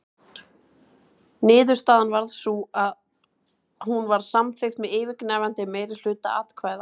Niðurstaðan varð sú að hún var samþykkt með yfirgnæfandi meirihluta atkvæða.